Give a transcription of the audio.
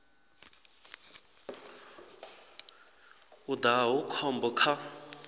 u daha hu khombo kha